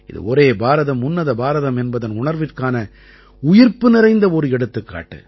இது ஒரே பாரதம் உன்னத பாரதம் என்பதன் உணர்விற்கான உயிர்ப்புநிறைந்த ஒரு எடுத்துக்காட்டு